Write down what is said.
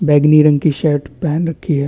बैगनी रंग की शर्ट पहन रखी है।